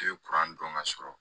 Ne ye dɔn ka sɔrɔ